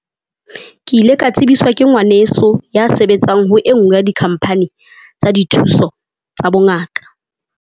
Ke ile ka tsebiswa ke ngwaneso ya sebetsang ho e nngwe ya di-company tsa dithuso tsa bongaka.